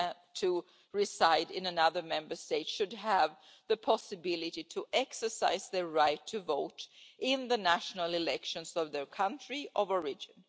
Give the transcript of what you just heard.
to reside in another Member State should have the possibility to exercise their right to vote in the national elections of their country of origin.